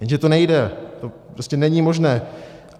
Jenže to nejde, to prostě není možné.